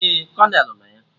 Ee, Kolonel nọ ya